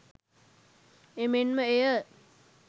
එමෙන්ම එය